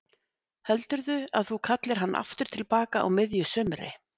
Heldurðu að þú kallir hann aftur til baka á miðju sumri?